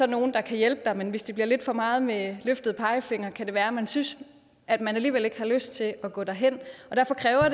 nogle der kan hjælpe men hvis det bliver lidt for meget med løftet pegefinger så kan være at man synes at man alligevel ikke har lyst til at gå derhen derfor kræver